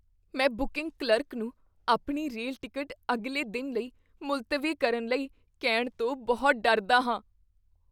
ਮੈਂ booking clerk ਨੂੰ ਆਪਣੀ ਰੇਲ ਟਿਕਟ ਅਗਲੇ ਦਿਨ ਲਈ ਮੁਲਤਵੀ ਕਰਨ ਲਈ ਕਹਿਣ ਤੋਂ ਬਹੁਤ ਡਰਦਾ ਹਾਂ।